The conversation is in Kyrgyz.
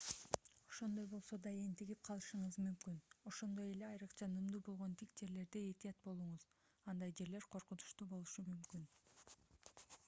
ошондой болсо да энтигип калышыңыз мүмкүн ошондой эле айрыкча нымдуу болгон тик жерлерде этият болуңуз андай жерлер коркунучтуу болушу мүмкүн